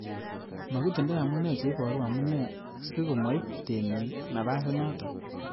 Makitindoi amune cheiboru amune si komoib temik napasinoton.